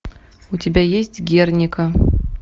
у тебя есть герника